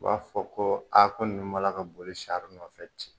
U b'a fɔ ko aa ko ninnu b'a la ka boli sari nɔfɛ ten